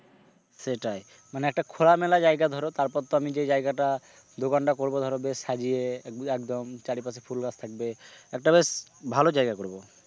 সেটাই মানে একটা খোলামেলা জায়গা ধরো তারপর তো আমি যে জায়গাটা দোকানটা করব ধরো বেশ সাজিয়ে একদম চারিপাসে ফুল গাছ থাকবে একটা বেশ ভালো জায়গা করবো ।